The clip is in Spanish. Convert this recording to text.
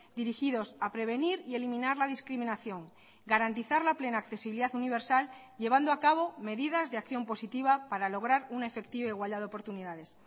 dirigidos a prevenir y eliminar la discriminación garantizar la plena accesibilidad universal llevando a cabo medidas de acción positiva para lograr una efectiva igualdad de oportunidades